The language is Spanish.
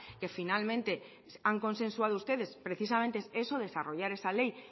que finalmente han consensuado ustedes precisamente eso desarrollar esa ley